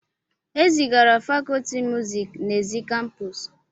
E zigara fakọlti muziiki n'èzí kampuusu.